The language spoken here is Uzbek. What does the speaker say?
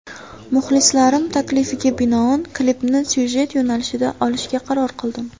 Muxlislarim taklifiga binoan klipni syujet yo‘nalishida olishga qaror qildim.